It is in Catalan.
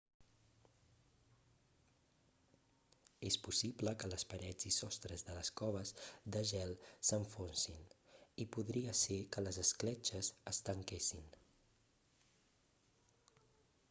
és possible que les parets i sostres de les coves de gel s'enfonsin i podria ser que les escletxes es tanquessin